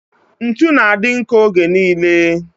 Ntụ na-adị nkọ oge niile